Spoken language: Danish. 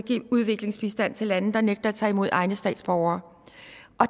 give udviklingsbistand til lande der nægter at tage imod egne statsborgere